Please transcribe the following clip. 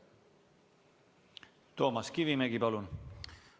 Toomas Kivimägi, palun!